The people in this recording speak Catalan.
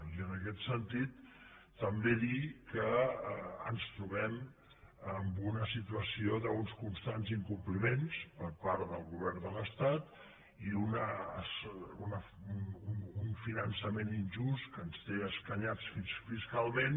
i en aquest sentit també dir que ens trobem amb una situació d’uns constants incompliments per part del govern de l’estat i un finançament injust que ens té escanyats fiscalment